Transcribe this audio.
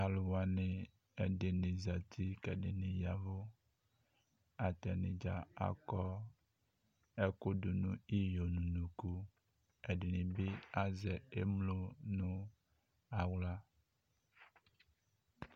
Alu wane ɛdene zati kɛ ɛdene yavu Atane dza akɔ ɛku do iyo no unuku Ɛdene be azɛ emlo no ahla